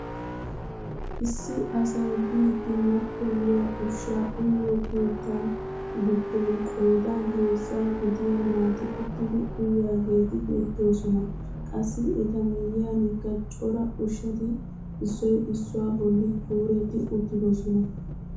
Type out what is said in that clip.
Issi asay biidi mattoyiyaa ushshaa uyiyoo keettan giddon qoodan heezzaa gidiyaa naati uttidi uyiyaageti beettoosona. qassi eta miyiyanikka cora ushshati issoy issuwaa bolli kuuretti uttidosona.